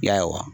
Ya wa